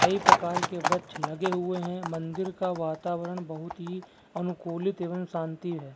कई प्रकार के वृक्ष लगे हुए हैं। मंदिर का वातावरण बहुत ही अनुकूलित एवं शांति है।